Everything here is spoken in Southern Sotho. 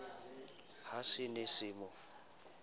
ha se ne se mo